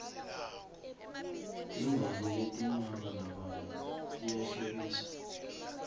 timbali letimabalabala tiyahlobisa